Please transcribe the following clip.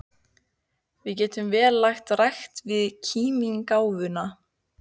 Við getum vel lagt rækt við kímnigáfuna.